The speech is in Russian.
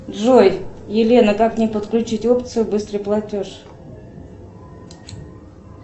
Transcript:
джой елена как мне подключить опцию быстрый платеж